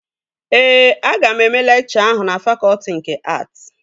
Ee, aga eme lekchọ ahụ na fakọtị nke att